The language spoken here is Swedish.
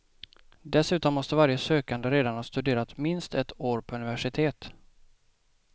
Dessutom måste varje sökande redan ha studerat minst ett år på universitet.